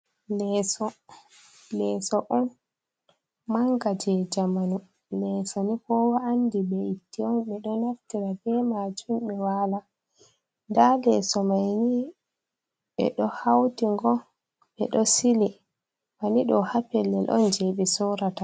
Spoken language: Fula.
Leeso, leeso on manga je jamanu, leeso ni koowa andi be'itte on, ɓe ɗo naftira be maajum ɓe waala dow, leeso mai ni ɓe ɗo hawti ngo, ɓe ɗo sili banni ɗo ha pellel on je ɓe soorata.